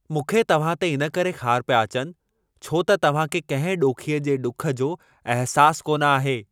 मूंखे तव्हां ते इनकरे ख़ार पिया अचनि, छो त तव्हां खे कंहिं ॾोखीअ जे ॾुख जो अहिसास कोन आहे।